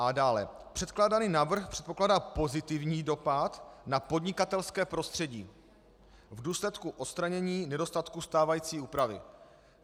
A dále: Předkládaný návrh předpokládá pozitivní dopad na podnikatelské prostředí v důsledku odstranění nedostatků stávající úpravy.